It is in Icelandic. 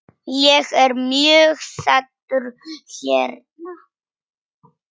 Ég er mjög sáttur hérna.